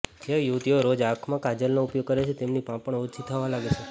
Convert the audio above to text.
જે યુવતીઓ રોજ આંખમાં કાજલનો ઉપયોગ કરે છે તેમની પાપણ ઓછી થવા લાગે છે